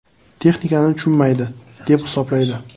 “Texnikani tushunmaydi”, deb hisoblaydi.